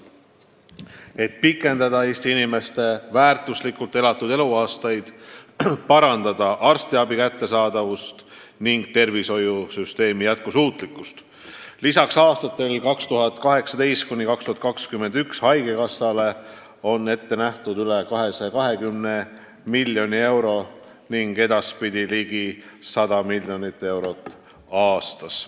Et Eesti inimeste täisväärtuslikult elatud aastate arv kasvaks, arstiabi kättesaadavus paraneks ning tervishoiusüsteem oleks jätkusuutlikum, lisatakse aastatel 2018–2021 haigekassa eelarvele üle 220 miljoni euro aastas ning edaspidi ligi 100 miljonit eurot aastas.